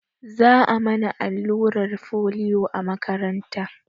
Za a mana allurar folio a makaranta